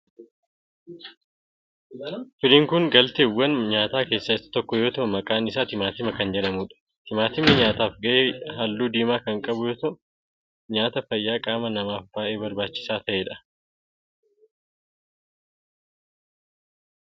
Firiin kun galteewwan nyaataa keessaa isa tokko yoo ta'u maqaan isaa timaatima kan jedhamudha. Timaatimni nyaataf gahe halluu diimaa kan qabu yoo ta'u nyaata fayyaa qaama namaaf bayyee barbaachisaa ta'edha.